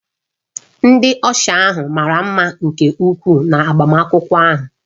Ndị ọsha ahụ mara mma nke ukwuu na agbamakwụkwọ ahụ